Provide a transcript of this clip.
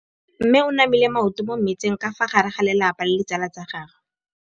Mme o namile maoto mo mmetseng ka fa gare ga lelapa le ditsala tsa gagwe.